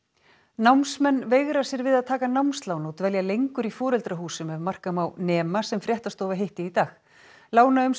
námsmenn veigra sér við að taka námslán og dvelja lengur í foreldrahúsum ef marka má nema sem fréttastofa hitti í dag